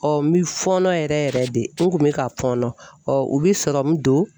n bi fɔɔnɔ yɛrɛ yɛrɛ de n kun bɛ ka fɔɔnɔ u bɛ sɔrɔmu don